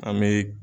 An bɛ